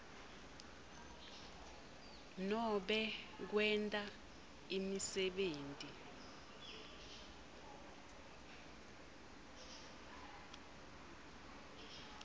nobe kwenta imisebenti